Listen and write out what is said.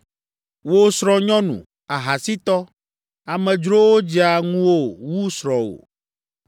“Wò, srɔ̃nyɔnu, ahasitɔ! Amedzrowo dzea ŋuwò wu srɔ̃wò!